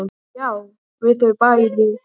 Já, við þau bæði.